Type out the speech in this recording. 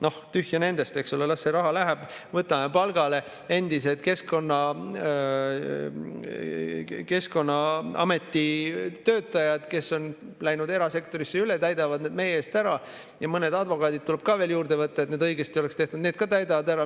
Noh, tühja nendest, eks ole, las see raha läheb, võtame palgale endised Keskkonnaameti töötajad, kes on läinud erasektorisse üle, nemad täidavad need meie eest ära, mõned advokaadid tuleb ka veel juurde võtta, et need õigesti oleks tehtud, need ka täidavad ära.